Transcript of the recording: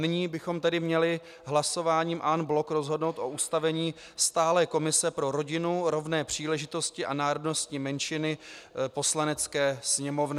Nyní bychom tedy měli hlasováním en bloc rozhodnout o ustavení stálé komise pro rodinu, rovné příležitosti a národnostní menšiny Poslanecké sněmovny.